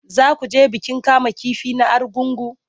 Za ku je bikin kamun kifi na Argungu?